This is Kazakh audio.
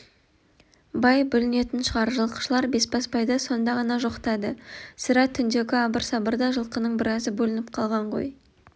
бай бүлінетін шығар жылқышылар бесбасбайды сонда ғана жоқтады сірә түндегі абыр-сабырда жылқының біразы бөлініп қалған ғой